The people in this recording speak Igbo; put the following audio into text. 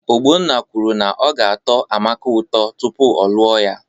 Ogbonna kwuru na ọ ga-atọ Amaka ụtọ tupu ọ lụọ ya